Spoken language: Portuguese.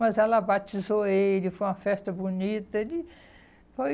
Mas ela batizou ele, foi uma festa bonita, ele foi...